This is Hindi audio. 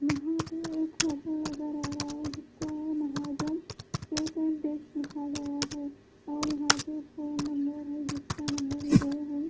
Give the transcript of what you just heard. यहां पे एक होटल नजर आ रहा है जिसका है महाजन केकस एंड बेकस लिखा गया है और यहाँ पे फ़ोन नंबर रजिस्टर नंबर दो हैं।